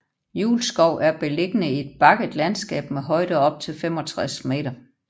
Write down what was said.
Julskov er beliggende i et bakket landskab med højder op til 65 m